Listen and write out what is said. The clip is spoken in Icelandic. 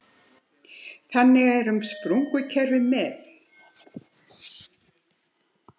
Þannig er um sprungukerfi með